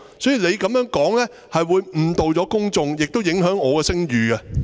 所以，你這樣說，會誤導公眾，亦會影響我的聲譽。